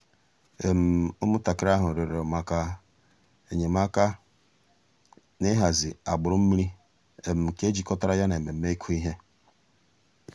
ụ́mụ̀ntàkìrì àhụ̀ rị̀ọrọ̀ mǎká enyèmàkà n'ị̀hàzì àgbùrù mmìrì nke jìkọ̀tàrà yà nà emèmé́ ị̀kụ̀ íhè.